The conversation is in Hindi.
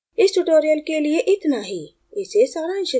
इस tutorial के लिए इतना ही इसे सारांशित करते हैं